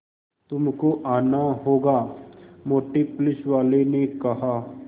तुमको आना होगा मोटे पुलिसवाले ने कहा